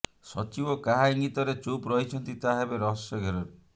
ସଚିବ କାହା ଇଙ୍ଗିତରେ ଚୁପ୍ ରହିଛନ୍ତି ତାହା ଏବେ ରହସ୍ୟ ଘେରରେ